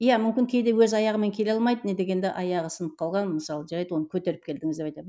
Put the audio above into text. иә мүмкін кейде өз аяғымен келе алмайды не дегенде аяғы сынып қалған мысалы жарайды оны көтеріп келдіңіз деп айтамын